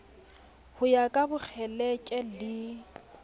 ho ya ka bokgeleke le